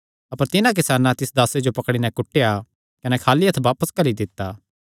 अपर तिन्हां किसानां तिस दासे जो पकड़ी नैं कुटेया कने खाली हत्थ बापस घल्ली दित्ता